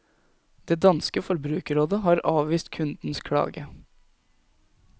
Det danske forbrukerrådet har avvist kundens klage.